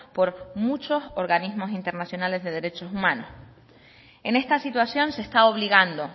por muchos organismos internacionales de derechos humanos en esta situación se está obligando